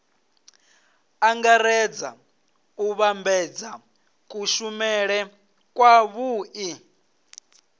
angaredza u vhambedza kushumele kwavhui